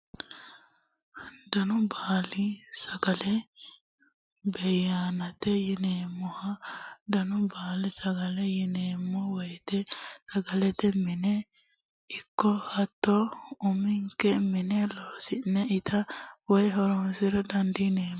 Danu baali sagale( beyayinete yineemoho), danu baali sagaleti yineemo woyite sagalete mine ikko hatto umi'nke mine loosi'ne itta woyi horonsira dandi'neemo